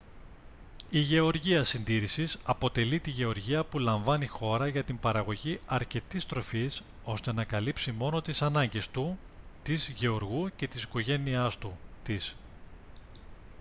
h γεωργία συντήρησης αποτελεί τη γεωργία που λαμβάνει χώρα για την παραγωγή αρκετής τροφής ώστε να καλύψει μόνο τις ανάγκες του/της γεωργού και της οικογένειάς του/της